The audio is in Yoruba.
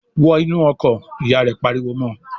"Wọn inú ọkọ̀!" Ìyá rẹ̀ pariwo mọ́ ọ.